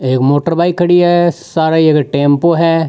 एक motor bike खड़ी है सारा ये टेम्पो है।